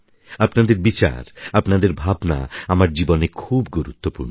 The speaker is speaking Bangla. আপনাদের বিচার আপনাদের ভাবনা আমার জীবনে খুব গুরুত্বপূর্ণ